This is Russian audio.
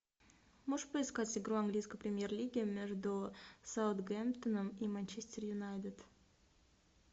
можешь поискать игру английской премьер лиги между саутгемптоном и манчестер юнайтед